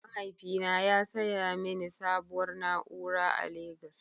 Mahaifina ya saya mini sabuwar na'ura a legos.